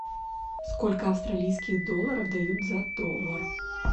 сколько австралийских долларов дают за доллар